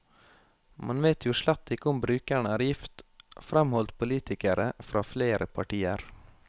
Man vet jo slett ikke om brukerne er gift, fremholdt politikere fra flere partier.